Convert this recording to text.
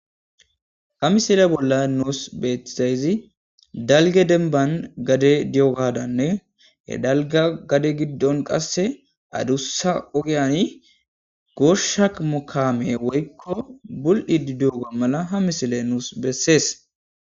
Ha misile bolla nuus beetisayzi dalge denban gade di7ogadanne he dalga gade giddon qasse aduussa ogyani goshak mokaame woykko bul7i di duoga mala ha misile nuus bessees.